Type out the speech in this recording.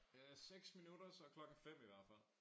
Øh 6 minutter så er klokken 5 i hvert fald